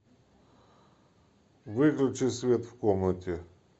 выключи свет в комнате